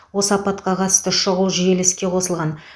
осы апатқа қатысты шұғыл желі іске қосылған